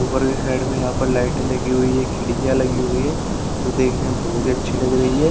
ऊपर हैंड में यहां पर लाइट लगी हुई है खिड़कियां लगी हुई है जो देखने में बहुत अच्छी लग रही है।